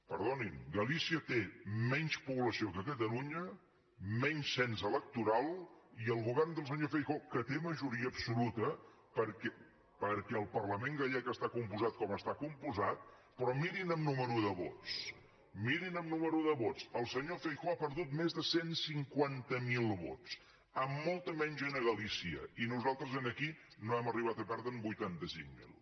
perdonin galícia té menys població que catalunya menys cens electoral i el govern del senyor feijóo que té majoria absoluta perquè el parlament gallec està compost com està compost però mirin en nombre de vots mirin en nombre de vots el senyor feijóo ha perdut més de cent i cinquanta miler vots amb molta menys gent a galícia i nosaltres aquí no hem arribat a perdre’n vuitanta cinc mil